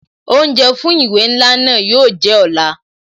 Oúnjẹ fún ìwé ńlá náà yo jẹ́ ọ̀la